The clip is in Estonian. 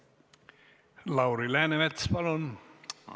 Lauri Läänemets, palun!